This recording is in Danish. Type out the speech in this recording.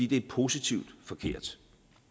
det er positivt forkert